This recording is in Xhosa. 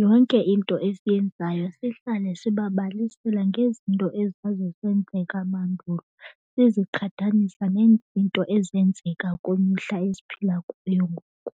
Yonke into esiyenzayo sihlale sibabalisela ngezinto ezazisenzeka mandulo siziqhathanisa nezinto ezenzeka kwimihla esiphila kuyo ngoku.